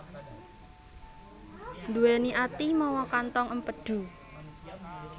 Nduwèni ati mawa kantong empedu